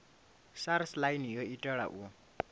sars online yo itelwa u